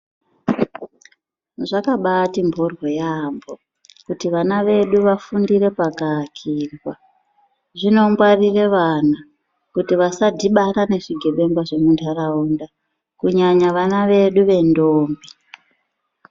Zvakabati mporyo yaampo kuti vana vedu vafundire pakaakirwa zvinongwarire vana kuti vasadhibana nezvigebenga zvemuntaraunda Kunyanya vana vedu vendombi.